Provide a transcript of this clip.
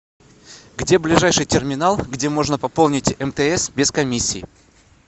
где ближайший терминал где можно пополнить мтс без комиссии